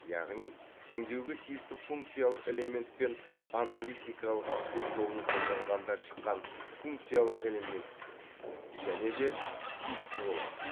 яғни теңдеуге тиісті функциялық элемент пен аналитикалық ашу жолын қолданғанда шыққан функциялық элемент және де тиісті болады